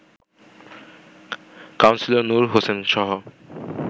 councillor Noor হোসেনসহ